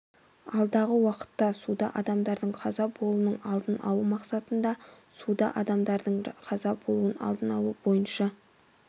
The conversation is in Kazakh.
алдағы уақытта суда адамдардың қаза болуының алдын алу мақсатында суда адамдардың қаза болуын алдын алу бойынша